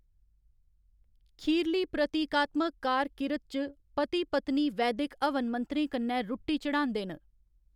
खीरली प्रतीकात्मक कार किरत च, पति पत्नी वैदिक हवन मंत्रें कन्नै रुट्टी चढ़ांदे न।